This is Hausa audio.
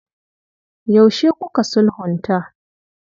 Yaushe kuka sulhunta?